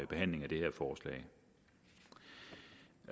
behandlingen af det